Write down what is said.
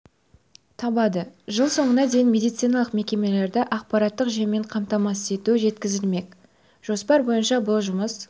табады жыл соңына дейін медициналық мекемелерді ақпараттық жүйемен қамтамасыз ету жеткізілмек жоспар бойынша бұл жұмыс